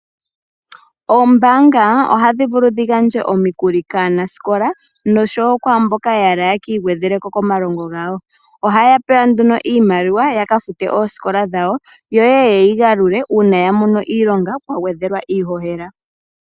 Oombanga ohadhi vulu dhi gandje omikuli kaanasikola nosho wo kwaamboka yahala yeki igwedheleko komalongo gawo . Ohaya pewa nduno iimaliwa yaka fute oosikola dhawo , yo yeyi galule uuna yamono iilonga pwa gwedhelwa iihohela .